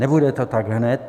Nebude to tak hned.